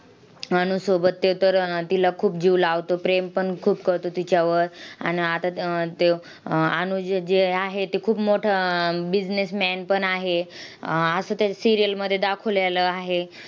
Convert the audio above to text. अनुजसोबत ते तर तिला खूप जीव लावतो. प्रेमपण खूप करतो तिच्यावर. आन आता त तो अनुज जी आहे, ती खूप मोठं अह businessman पण आहे, असं त्या serial मध्ये दाखवलेलं आहे.